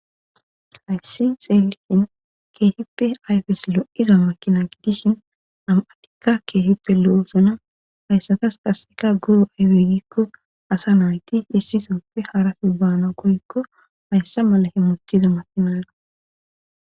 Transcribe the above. hayssi xeelisin keehippe ayfes lo7iza makina gidishin am7atikka keehippe lo7osona hayssatas kasseka guro aywegikko asa nayti issisofe harase baana koyikko hayssa mala he mutiza makinayra